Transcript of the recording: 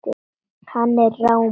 Hann er rámur.